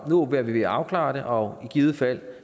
nu er vi ved at afklare det og i givet fald